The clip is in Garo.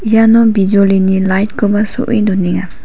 iano bijolini light-koba so·e donenga.